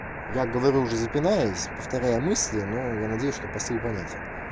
я говорю уже запинаясь повторяем мысли но я надеюсь что посыл понятен